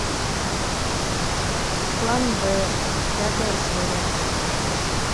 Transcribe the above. план б пятая серия